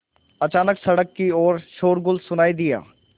अचानक सड़क की ओर शोरगुल सुनाई दिया